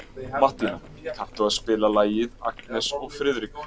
Mattína, kanntu að spila lagið „Agnes og Friðrik“?